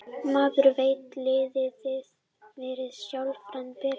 Maður veit að liðið verður sjálfkrafa betra.